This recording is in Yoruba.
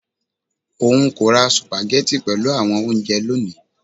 Oun ko ra sùpàgẹ́tì pelu awọn ounjẹ loni